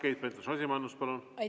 Keit Pentus-Rosimannus, palun!